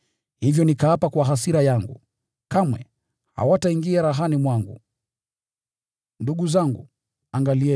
Hivyo nikatangaza kwa kiapo katika hasira yangu, ‘Kamwe hawataingia rahani mwangu.’ ”